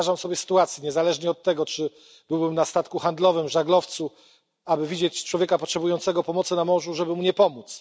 Nie wyobrażam sobie sytuacji, niezależnie od tego czy byłbym na statku handlowym czy na żaglowcu, aby widzieć człowieka potrzebującego pomocy na morzu i mu nie pomóc.